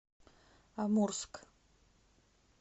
амурск